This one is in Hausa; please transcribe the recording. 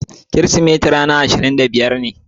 Kirisimeti ran ashirin da biyar ne.